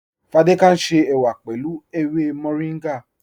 Fádẹkẹ̀ ń ṣe èwà pẹ̀lú èwè Mọ̀ríngá.